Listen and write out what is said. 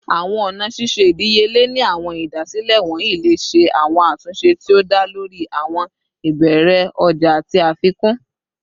Awọn ọna ṣiṣe idiyele ni awọn idasile wọnyi le ṣe awọn atunṣe ti o da lori awọn ibeere ọja ati afikun